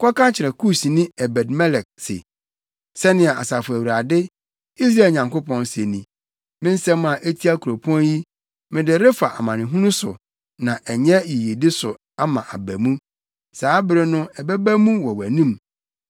“Kɔka kyerɛ Kusni Ebed-Melek se, ‘Sɛnea Asafo Awurade, Israel Nyankopɔn, se ni: Me nsɛm a etia kuropɔn yi, mede refa amanehunu so na ɛnyɛ yiyedi so ama aba mu. Saa bere no ɛbɛba mu wɔ wʼanim.